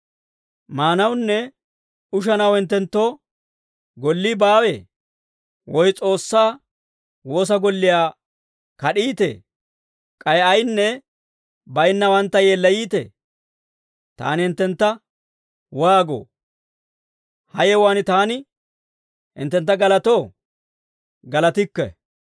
Maanawunne ushanaw hinttenttoo gollii baawee? Woy S'oossaa woosa golliyaa kad'iitee? K'ay ayinne baynnawantta yeellayiitee? Taani hinttentta waagoo? Ha yewuwaan taani hinttentta galatoo? Galatikke.